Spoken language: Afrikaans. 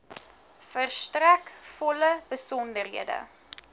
verstrek volle besonderhede